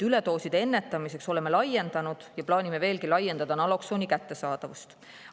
Üledooside ennetamiseks oleme laiendanud ja plaanime veelgi laiendada naloksooni kättesaadavust.